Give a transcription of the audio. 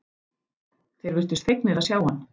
Þeir virtust fegnir að sjá hann.